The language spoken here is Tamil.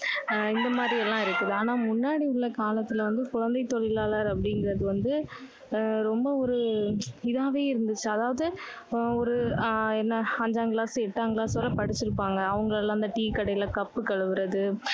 ஆஹ் இந்த மாதிரி எல்லாம் இருக்குது. ஆனால் முன்னாடி உள்ள காலத்துல வந்து குழந்தை தொழிலாளர் அப்படிங்கறது வந்து, அஹ் ரொம்ப ஒரு இதாவே இருந்துச்சு. அதாவது, ஒரு ஆஹ் என்ன அஞ்சாம் class எட்டாம் class வரை படிச்சிருப்பாங்க. அவங்க எல்லாம் இந்த டீ கடையில cup கழுவுறது,